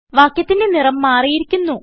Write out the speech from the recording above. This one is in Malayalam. വാക്യത്തിന്റെ നിറം മാറിയിരിക്കുന്നു